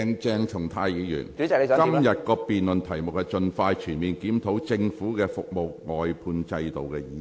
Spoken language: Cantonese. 鄭松泰議員，今天辯論的議題是"盡快全面檢討政府的服務外判制度"。